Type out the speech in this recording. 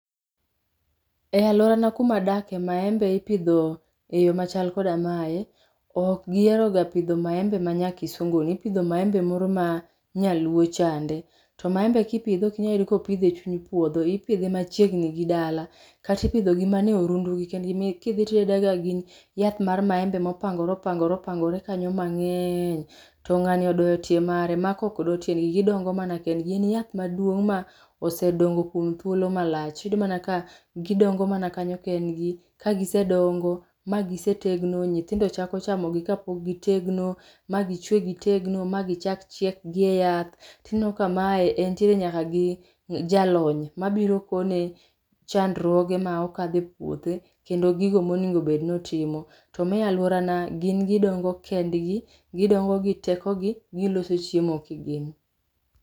E alworana kumadakie maembe ipidho e yo machal koda mae. Ok giheroga pidho maembe ma nya kisunguni, ipidho maembe moro ma nyaluo chande, to maembe kipidho ok inya yudo kopidh e chuny puodho. Ipidhe machiegni gi dala. Kata ipidhogi mana e orundugi kendgi, kidhi tiyudo ka gin yath mar maembe mopangore opangore opangore kanyo mang'eny. To ng'ani odoyo tie mare, maka ok do tiendgi. Gidongo mana kendgi. Gin yath maduong' ma osedongo kuom thuolo malach . iyudo mana ka gidongo mana kanyo kendgi, kagisedongo, magisetegno, nyithindo chako chamogi kapok gitegno, ma gichwe gitegno, ma gichak chiek gi e yath. Tineno ka mae entiere nyaka gi jalony mabiro kone chandruoge ma okadhe e puothe kendo gigo monego obed notimo. To ma e alworana, gin gidongo kendgi. Gidongo gi tekogi, giloso chiemo kigin.